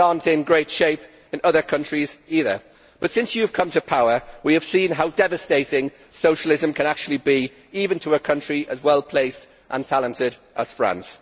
Things are not in great shape in other countries either, but since you have come to power we have seen how devastating socialism can actually be, even to a country as well placed and talented as France.